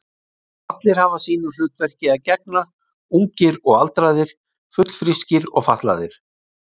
Allir hafa sínu hlutverki að gegna, ungir og aldraðir, fullfrískir og fatlaðir.